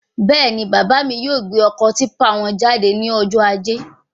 Bẹ́ẹ̀ni, bàbá mí yóò gbé ọkọ típpà wọn jáde ní ọjọ ajé